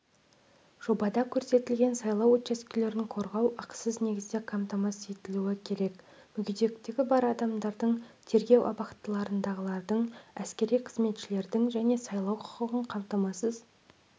жобада көрсетілген сайлау учаскелерін қорғау ақысыз негізде қамтамасыз етілуі керек мүгедектігі бар адамдардың тергеу абақтыларындағылардың әскери қызметшілердің және сайлау құқығын қамтамасыз